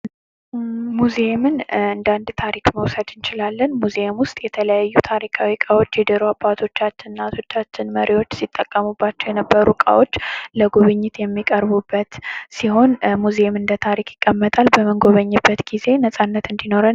ሙዚየምን እንደ አንድ ታሪክ መውሰድ እንችላለን ሙዚየም ውስጥ የተለያዩ ታሪካዊ ዕቃዎች የድሮ አባቶቻችን እናቶቻችን መሪዎች ሲጠቀሙባቸው የነበሩ ዕቃዎች ለጉብኝት የሚቀርቡበት ሲሆን ሙዚየም እንደ ታሪክ ይቀመጣል :: በምንጉኝበት ጊዜ ነፃነት እንዲኖረን ::